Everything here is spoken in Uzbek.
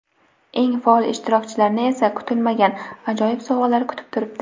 Eng faol ishtirokchilarni esa kutilmagan ajoyib sovg‘alar kutib turibdi.